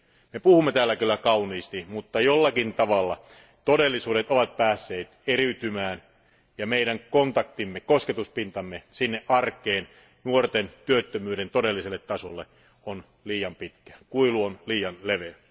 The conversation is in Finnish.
Me puhumme täällä kyllä kauniisti, mutta jollakin tavalla todellisuudet ovat päässeet eriytymään ja meidän kontaktimme ja kosketuspintamme arkeen, nuorten työttömyyden todelliselle tasolle, on liian pitkä, kuilu on liian leveä.